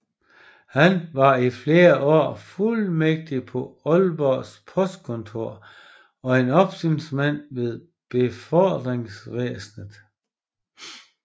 Han var i flere år fuldmægtig på Aalborg postkontor og opsynsmand ved befordringsvæsenet